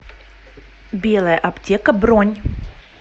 белая аптека бронь